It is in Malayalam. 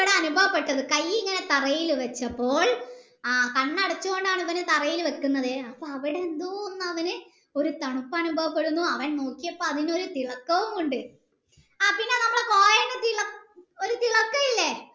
അനുഭവപ്പെട്ടത് കൈ ഇങ്ങനെ തറയിൽ വെച്ചപ്പോൾ ആഹ് കണ്ണടച്ചോണ്ട് ആളാണ് ഇവാൻ തറയിൽ വെക്കുന്നത് അപ്പൊ അവിടെ എന്തോ അവന് തണുപ്പ് അനുഭവപ്പെടുന്നു അവൻ നോക്കിയപ്പോൾ അവിടെ ഒരു തിളക്കവും ഉണ്ട് ആ പിന്നെ നമ്മൾ coin തിള ഒരു തിളക്കം ഇല്ലേ